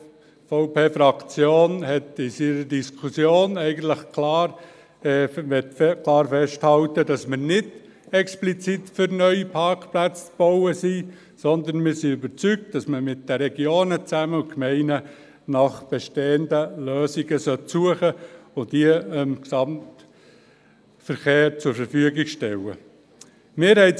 Die SVP-Fraktion möchte aufgrund der von ihr geführten Diskussion klar festhalten, dass wir nicht explizit für den Bau neuer Parkplätze sind, sondern wir sind überzeugt, dass man zusammen mit den Regionen und Gemeinden nach bestehenden Lösungen suchen und diese dem Gesamtverkehr zur Verfügung stellen sollte.